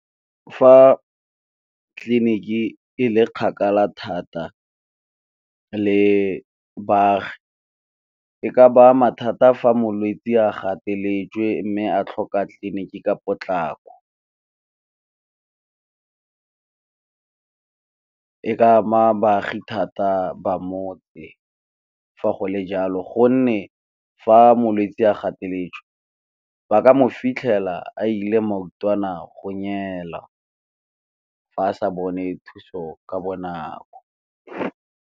Fa tleliniki e le kgakala thata le baagi e ka baa mathata fa molwetsi a gateletswe, mme a tlhoka tleliniki ka potlako. E ka ama baagi thata ba motse. Fa go le jalo gonne fa molwetsi a gateletswe ba ka mo fitlhela a ile fa a sa bone thuso ka bonako.